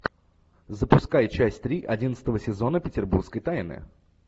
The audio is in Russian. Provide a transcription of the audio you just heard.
запускай часть три одиннадцатого сезона петербургской тайны